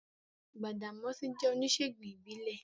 Gbàdàmọ́sí jẹ́ oníṣèègùn ìbílẹ̀